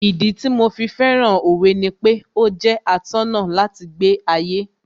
Ìdí tí mo fi fẹ́ràn Òwe ni pé ó jẹ́ atọ́nà láti gbé ayé